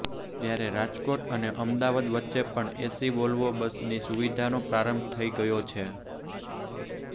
જ્યારે રાજકોટ અને અમદાવાદ વચ્ચે પણ એસી વોલ્વો બસની સુવિધાનો પ્રારંભ થઇ ગયો છે